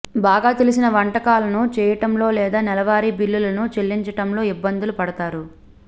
బాగా తెలిసిన వంటకాలను చేయటంలో లేదా నెలవారీ బిల్లులను చెల్లించటంలో ఇబ్బందులు పడతారు